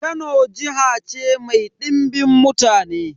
Kano jiha ce mai dimbin mutane.